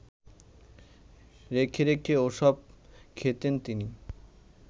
রেখে রেখে ওসব খেতেন তিনি